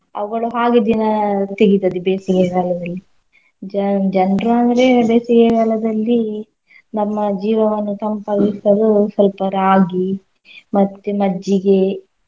ಅವ್ಗಳು ಹಾಗೇ ದಿನ ತೆಗಿತದೆ ಬೇಸಿಗೆ ಕಾಲದಲ್ಲಿ. ಜನ್~ ಜನ್ರ್ ಅಂದ್ರೆ ಬೇಸಿಗೆ ಕಾಲದಲ್ಲಿ ನಮ್ಮ ಜೀವವನ್ನು ತಂಪಾಗಿಸಲು ಸಲ್ಪ ರಾಗಿ ಮತ್ತೆ ಮಜ್ಜಿಗೆ.